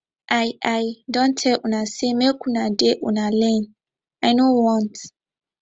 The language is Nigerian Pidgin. i i don tell una say make una dey una lane i know want